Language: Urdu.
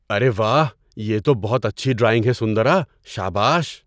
ارے واہ! یہ تو بہت اچھی ڈرائنگ ہے سندرا! شاباش۔